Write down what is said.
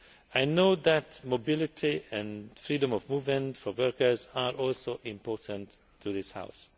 I know that mobility and freedom of movement for workers are also important to this House.